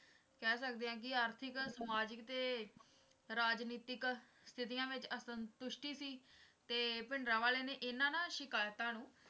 ਕਹਿ ਸਕਦੇ ਹਾਂ ਆਰਥਿਕ ਸਮਾਜਿਕ ਤੇ ਰਾਜਨੀਤਿਕ ਸਥਿਤੀਆਂ ਵਿੱਚ ਅਸੰਤੁਸ਼ਟੀ ਸੀ ਤੇ ਭਿੰਡਰਾਂਵਾਲੇ ਨੇ ਇਨ੍ਹਾਂ ਨਾ ਸ਼ਿਕਾਇਤਾਂ ਨੂੰ